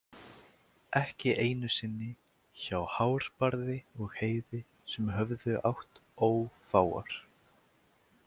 Ekki einu sinni hjá Hárbarði og Heiði sem höfðu átt ófáar.